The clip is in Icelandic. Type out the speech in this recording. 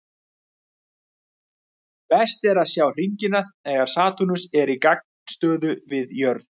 Best er að sjá hringina þegar Satúrnus er í gagnstöðu við jörð.